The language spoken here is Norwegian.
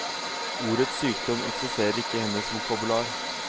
Ordet sykdom eksisterer ikke i hennes vokabular.